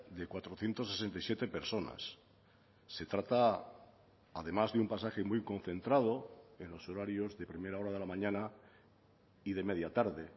de cuatrocientos sesenta y siete personas se trata además de un pasaje muy concentrado en los horarios de primera hora de la mañana y de media tarde